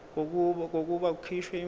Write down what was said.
kokuba kukhishwe imvume